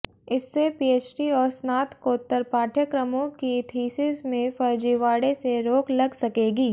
इससे पीएचडी और स्नातकोत्तर पाठ्यक्रमों की थीसिस में फर्जीवाड़े से रोक लग सकेगी